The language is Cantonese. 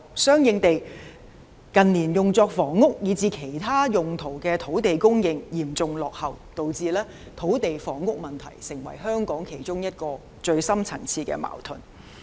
相應地，近年用作房屋以至其他用途的土地供應嚴重落後，導致土地房屋問題成為香港其中一個最深層次的矛盾。